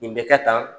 Nin bɛ kɛ tan